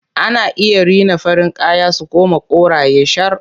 Ana iya rina farin kaya su koma koraye shar.